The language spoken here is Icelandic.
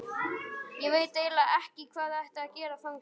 Ég veit eiginlega ekki hvað þér ættuð að gera þangað.